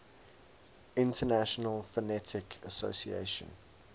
international phonetic association